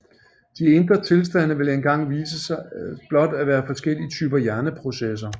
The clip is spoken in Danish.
De indre tilstande vil engang vise sig blot at være forskellige typer hjerneprocesser